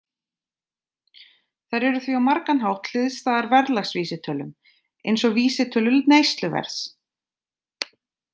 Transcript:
Þær eru því á margan hátt hliðstæðar verðlagsvísitölum, eins og vísitölu neysluverðs.